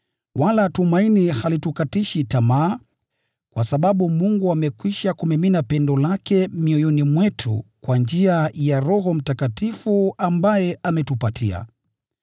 wala tumaini halitukatishi tamaa, kwa sababu Mungu amekwisha kumimina pendo lake mioyoni mwetu kwa njia ya Roho Mtakatifu ambaye ametupatia.